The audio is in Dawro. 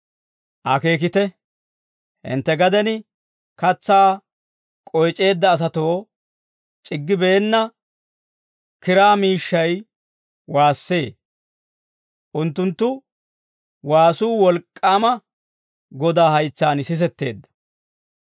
Akeekite; hintte gaden katsaa k'oyc'eedda asatoo c'iggibeenna kiraa miishshay waassee; unttunttu waasuu wolk'k'aama Godaa haytsaan sisetteedda.